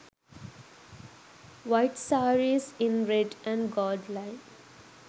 white sarees in red and gold line